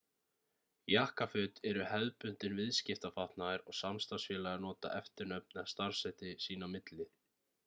jakkaföt eru hefðbundinn viðskiptafatnaður og samstarfsfélagar nota eftirnöfn eða starfsheiti sín á milli